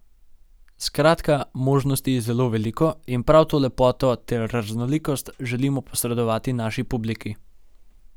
Skratka, možnosti je zelo veliko in prav to lepoto ter raznolikost, želimo posredovati naši publiki.